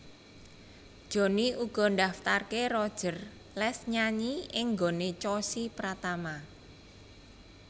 Jhonny uga ndaftarké Roger les nyanyi ing nggoné Chossy Pratama